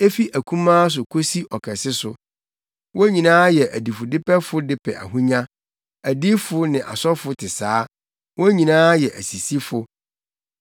“Efi akumaa so kosi ɔkɛse so, wɔn nyinaa yɛ adifudepɛfo de pɛ ahonya; adiyifo ne asɔfo te saa, wɔn nyinaa yɛ asisifo.